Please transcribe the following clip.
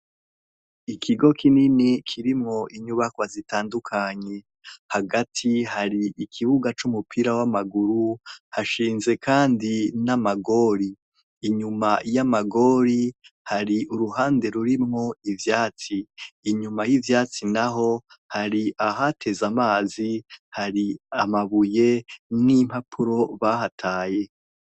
Ikigo kinini kirimwo inyubakwa nyinshi zitandukanye hagati hari ikibuga cumupira wamaguru hashinze kandi namagori inyuma yamagori hari uruhande rurimwo ivyatsi inyuma yivyatsi naho hari ahateze amazi hari amabuye nimpapuro bahataye